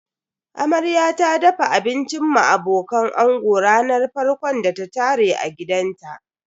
Amarya ta dafa abincin ma abokan ango ranar farkon da ta tare a gidanta.